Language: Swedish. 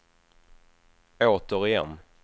återigen